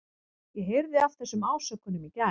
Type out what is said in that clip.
Ég heyrði af þessum ásökunum í gær.